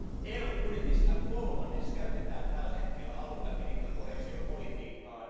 EUn budjetista kolmannes käytetään tällä hetkellä alue eli koheesiopolitiikkaan.